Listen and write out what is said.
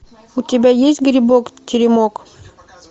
у тебя есть грибок теремок